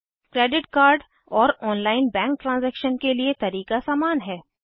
credit card और online bank transaction के लिए तरीका सामान है